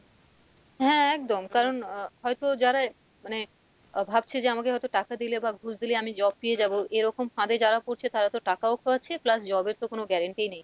হ্যাঁ একদম কারণ আহ হয়তো যারা মানে আহ ভাবছে যে আমাকে হয়তো টাকা দিলে বা ঘুষ দিলে আমি job পেয়ে যাবো এরকম ফাঁদে যারা পড়ছে তারা তো টাকাও খোয়াচ্ছে plus job এর তো কোনো guarantee নেই,